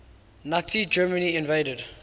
nazi germany invaded